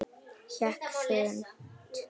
Hékk þurrt.